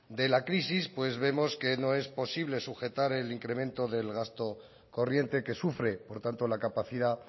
de la crisis vemos que no es posible sujetar el incremento del gasto corriente que sufre por tanto la capacidad